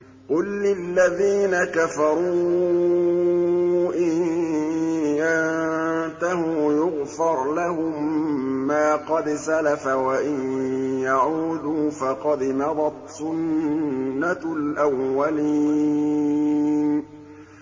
قُل لِّلَّذِينَ كَفَرُوا إِن يَنتَهُوا يُغْفَرْ لَهُم مَّا قَدْ سَلَفَ وَإِن يَعُودُوا فَقَدْ مَضَتْ سُنَّتُ الْأَوَّلِينَ